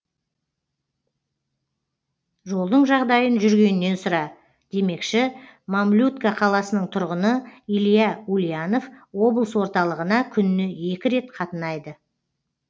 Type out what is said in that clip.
жолдың жағдайын жүргеннен сұра демекші мамлютка қаласының тұрғыны илья ульянов облыс орталығына күніне екі рет қатынайды